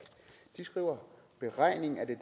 de skriver beregning af det